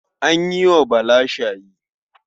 An yi wa Bala shayi.